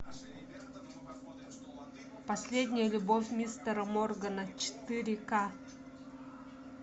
последняя любовь мистера моргана четыре к